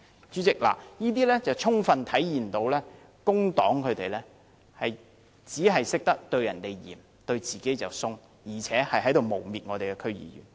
主席，這充分體現工黨只懂對別人嚴厲，對自己卻寬鬆，更誣衊了我們的區議員。